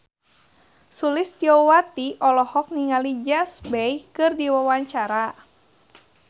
Sulistyowati olohok ningali James Bay keur diwawancara